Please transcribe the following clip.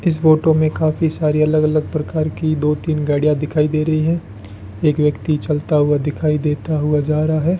इस फोटो में काफी सारी अलग अलग प्रकार की दो तीन गाड़ियां दिखाई दे रही है एक व्यक्ति चलता हुआ दिखाई देता हुआ जा रहा है।